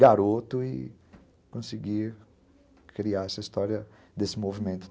Garoto e conseguir criar essa história desse movimento todo.